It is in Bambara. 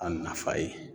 A nafa ye